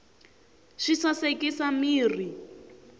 swi sasekisa mirhi